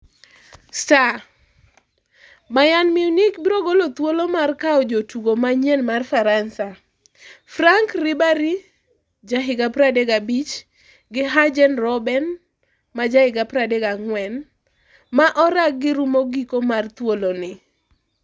(Star) Bayern Munich biro golo thuolo mar kawo jo tugo manyien mar Faransa, Franck Ribery, ja higa 35, gi Arjen Robben, maja higa, 34, ma oraggi rumo giko mar thuoloni.